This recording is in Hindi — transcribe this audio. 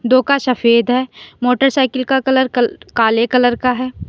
दो का सफेद है मोटर साइकिल का कलर काले कलर का है।